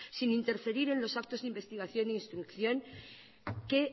sin interferir en los actos de investigación e instrucción que